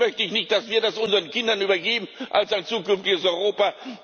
Das möchte ich nicht, dass wir das unseren Kindern übergeben als ein zukünftiges Europa.